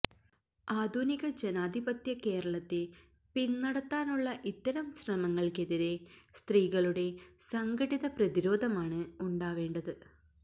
ആധുനിക ജനാധിപത്യ കേരളത്തെ പിൻനടത്താനുള്ള ഇത്തരം ശ്രമങ്ങൾക്കെതിരെ സ്ത്രീകളുടെ സംഘടിത പ്രതിരോധമാണ് ഉണ്ടാവേണ്ടത്